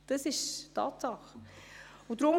Das ist eine Tatsache.